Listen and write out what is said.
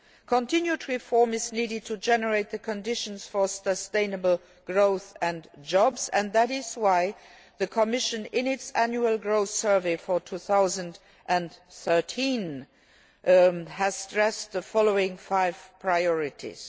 Continued reform is needed to generate the conditions for sustainable growth and jobs, and that is why the Commission, in its Annual Growth Survey for 2013, has stressed the following five priorities.